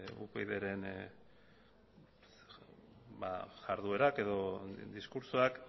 upydren jarduerak edo diskurtsoak